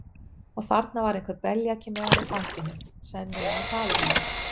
Og þarna var einhver beljaki með hana í fanginu, sennilega faðir hennar.